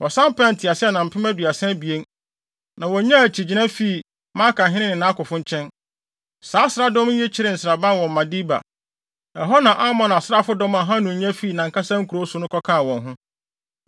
Wɔsan pɛɛ nteaseɛnam mpem aduasa abien, na wonyaa akyigyina fii Maakahene ne nʼakofo nkyɛn. Saa asraafodɔm yi kyeree nsraban wɔ Medeba, ɛhɔ na Amon asraafodɔm a Hanun nya fii nʼankasa nkurow so no kɔkaa wɔn ho.